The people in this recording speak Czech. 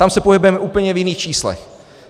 Tam se pohybujeme v úplně jiných číslech.